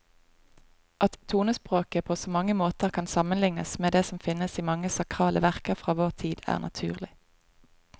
At tonespråket på mange måter kan sammenlignes med det som finnes i mange sakrale verker fra vår tid, er naturlig.